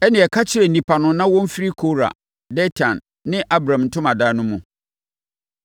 “Ɛnneɛ ka kyerɛ nnipa no na wɔmfiri Kora, Datan ne Abiram ntomadan no mu.”